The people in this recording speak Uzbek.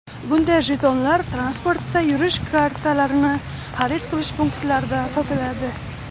Bunday jetonlar transportda yurish kartalarini xarid qilish punktlarida sotiladi.